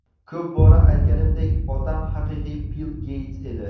Ko‘p bora aytganimdek, otam haqiqiy Bill Geyts edi.